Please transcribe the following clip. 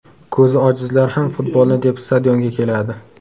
Ko‘zi ojizlar ham futbolni deb stadionga keladi.